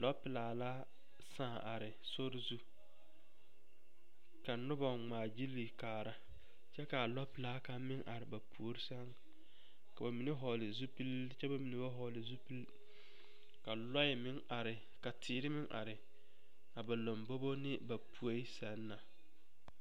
Lɔpelaa la sãã are sori zu ka noba ŋmaa gyili kaara kyɛ ka lɔpelaa kaŋ meŋ are ba puori sɛŋ k'o mine vɔgle zupili kyɛ ba mine ba vɔgle zupili ka lɔɛ meŋ are ka teere meŋ are ba ne ba lombogo ne ba poe zaa na.